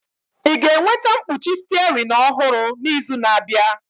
Ị ga-enweta mkpuchi steering ọhụrụ n'izu na-abịa?